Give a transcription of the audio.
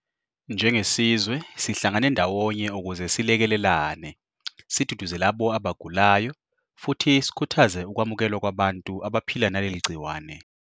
Njengesizwe sihlangane ndawonye ukuze selekelelane, siduduze labo abagulayo futhi sikhuthaze ukwamukelwa kwabantu abaphila naleli gciwane.